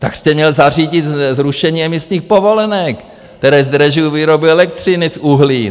Tak jste měl zařídit zrušení emisních povolenek, které zdražují výrobu elektřiny z uhlí!